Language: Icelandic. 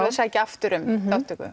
að sækja aftur um þátttöku